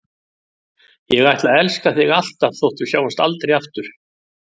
Ég ætla að elska þig alltaf þótt við sjáumst aldrei aftur.